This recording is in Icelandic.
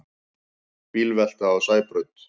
Bílvelta á Sæbraut